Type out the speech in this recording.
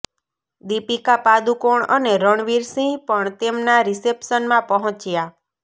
દીપિકા પાદુકોણ અને રણવીર સિંહ પણ તેમના રિસેપ્શનમાં પહોંચ્યા